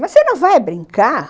Mas você não vai brincar?